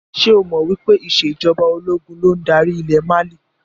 Ṣé o mọ wípé ìsèjọba ológun ló ń darí ilẹ̀ Mali?